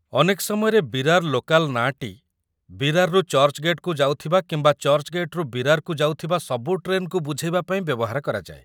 ଅନେକ ସମୟରେ ବିରାର ଲୋକାଲ୍ ନାଁଟି ବିରାରରୁ ଚର୍ଚ୍ଚ୍‌ଗେଟ୍‌କୁ ଯାଉଥିବା କିମ୍ବା ଚର୍ଚ୍ଚ୍‌ଗେଟ୍‌ରୁ ବିରାରକୁ ଯାଉଥିବା ସବୁ ଟ୍ରେନ୍‌କୁ ବୁଝେଇବା ପାଇଁ ବ୍ୟବହାର କରାଯାଏ ।